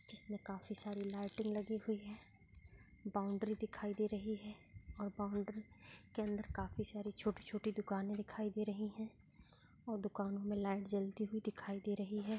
इसमें काफी सारी लाइट लगी हुई है बाउंड्री दिखाई दे रही है और बाउंड्री के अंदर काफी सारी छोटी-छोटी दुकाने दिखाई दे रही हैं और दुकान में लाइट जलती हुई दिखाई दे रही है।